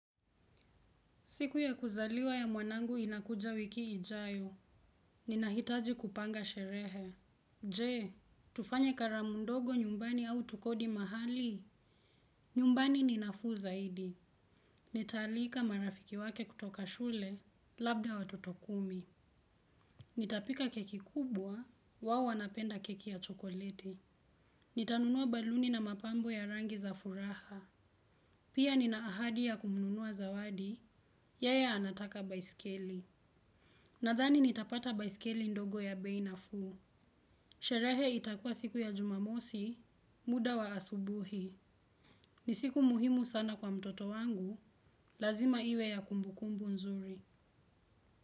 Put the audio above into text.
Siku ya kuzaliwa ya mwanangu inakuja wiki ijayo. Nina hitaji kupanga sherehe. Je, tufanye karamundogo nyumbani au tukodi mahali? Nyumbani ninafuu zaidi. Nitaalika marafiki wake kutoka shule, labda watoto kumi. Nitapika keki kubwa, wao wanapenda keki ya chokoleti. Nitanunua baluni na mapambo ya rangi za furaha. Pia nina ahadi ya kununua zawadi, yeye anataka baiskeli. Nadhani nitapata baiskeli ndogo ya bei nafuu. Sherehe itakua siku ya jumamosi, muda wa asubuhi. Ni siku muhimu sana kwa mtoto wangu, lazima iwe ya kumbukumbu nzuri.